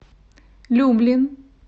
люблин